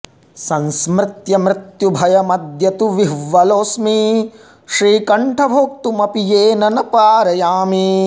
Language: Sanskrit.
संस्मृत्य मृत्युभयमद्य तु विह्वलोऽस्मि श्रीकण्ठ भोक्तुमपि येन न पारयामि